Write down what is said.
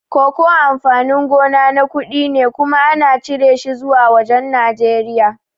Koko amfani gona na kuɗi kuma ana cire shi zuwa wajan Nijeriya